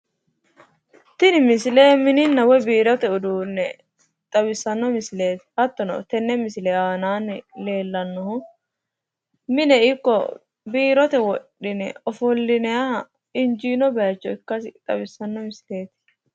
Tini misile mininna woyi biirote uduunne xawissanno misileeti hattono tenne misile aanaanni leellnnohu mine ikko biirote wodhine ofollinayiha injiinoha bayicho ikkasi xawissanno misileeti.